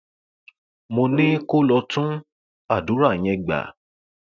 mo ní kó lọá tún àdúrà yẹn gbà